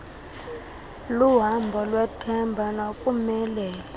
luhambo lwethemba nokomelela